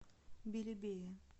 белебея